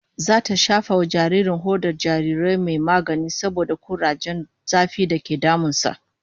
Zata shafa wa jaririn hodar jarirai mai magani saboda kurajen zafi dake damun sa